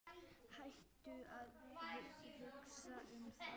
Hættu að hugsa um það.